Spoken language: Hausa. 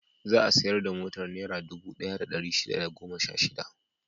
Za a sayar da motar Naira dubu ɗaya da ɗari shida da goma sha shida.